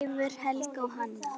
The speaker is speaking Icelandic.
Leifur, Helga og Hanna.